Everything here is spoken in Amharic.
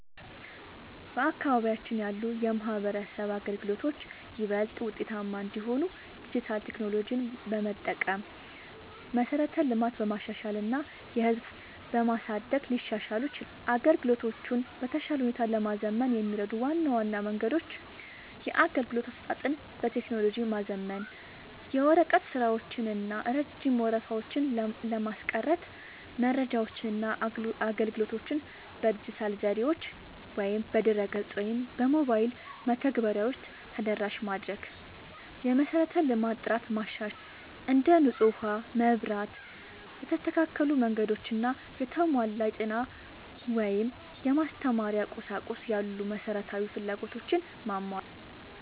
በአካባቢያችን ያሉ የማህበረሰብ አገልግሎቶች ይበልጥ ውጤታማ እንዲሆኑ ዲጂታል ቴክኖሎጂዎችን በመጠቀም፣ መሠረተ ልማትን በማሻሻል እና የህዝብ ተሳትፎን በማሳደግ ሊሻሻሉ ይችላሉ። አገልግሎቶቹን በተሻለ ሁኔታ ለማዘመን የሚረዱ ዋና ዋና መንገዶች - የአገልግሎት አሰጣጥን በቴክኖሎጂ ማዘመን፦ የወረቀት ስራዎችን እና ረጅም ወረፋዎችን ለማስቀረት መረጃዎችንና አገልግሎቶችን በዲጂታል ዘዴዎች (በድረ-ገጽ ወይም በሞባይል መተግበሪያዎች) ተደራሽ ማድረግ። የመሠረተ ልማት ጥራትን ማሻሻል፦ እንደ ንጹህ ውሃ፣ መብራት፣ የተስተካከሉ መንገዶች እና የተሟላ የጤና/የማስተማሪያ ቁሳቁስ ያሉ መሠረታዊ ፍላጎቶችን ማሟላት።